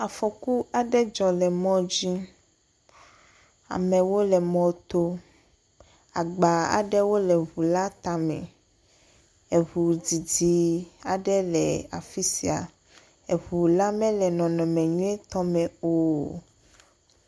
Akɔku aɖe dzɔ le mɔ dzi. Amewo le mɔ to. Agba aɖewo le ŋu la tame. Eŋu didi aɖe le afisia. Eɔu la mele nɔnɔme nyuietɔ me o.